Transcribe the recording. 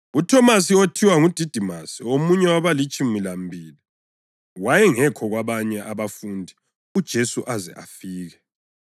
UThomasi (othiwa nguDidimasi), omunye wabalitshumi lambili, wayengekho kwabanye abafundi uJesu aze afike.